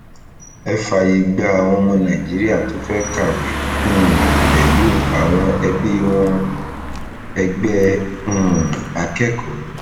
ẹ fààyè gba àwọn ọmọ nàìjíríà tó fẹẹ kàwé um pẹlú àwọn ẹbí wọn ẹgbẹ um akẹkọọ